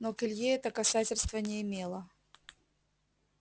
но к илье это касательства не имело